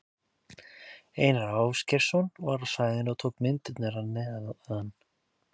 Einar Ásgeirsson var á svæðinu og tók myndirnar að neðan.